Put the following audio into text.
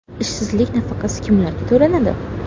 Ishsizlik nafaqasi kimlarga to‘lanadi?